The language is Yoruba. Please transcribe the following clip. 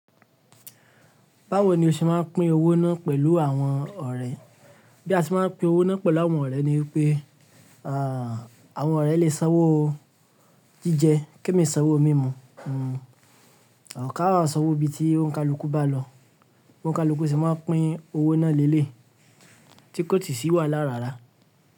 Báwo ni o ṣe máa ń pín owó náà pẹ̀lú àwọn ọ̀rẹ́? Bí a ti máa ń pín owó náà pẹ̀lú àwọn ọ̀rẹ́ ni pé, àwọn ọ̀rẹ́ lè sanwó jíjẹ, kí èmi sanwó mímu. Ká a sanwó bí i tí òǹkà lókù bá lọ. Òǹkà lukù se máa ń pín owó náà léèlé, tí kò sí si wà lára rárá.